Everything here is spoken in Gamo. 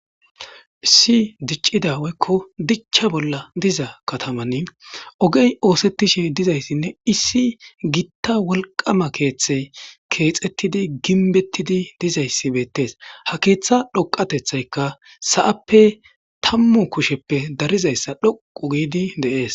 Issi diccida weykko dicha bolla diza katamann ogey oosettishe dizayssinne issi gitta wolqama keeththe keexettidi ginbettidi dizayssi beettees ha keeththa dhoqatethaykka sa'appe tammu kusheppe darizayssa dhoqu giidi deees